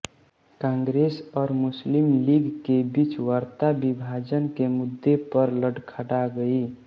कांग्रेस और मुस्लिम लीग के बीच वार्ता विभाजन के मुद्दे पर लड़खड़ा गई